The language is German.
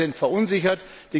Die Bürger sind verunsichert.